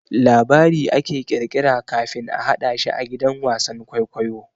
Labari ake kirkira kafin a hadashi a gidan wasan kwaikwayo.